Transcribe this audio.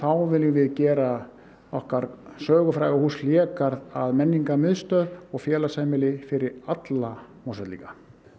viljum við gera okkar sögufræga hús Hlégarð að menningarmiðstöð fyrir alla Mosfellinga